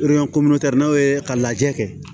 n'aw ye ka lajɛ kɛ